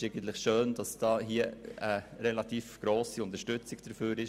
Es ist schön, dass hier eine grosse Unterstützung vorhanden ist.